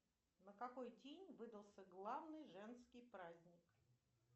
на какой день выдался главный женский праздник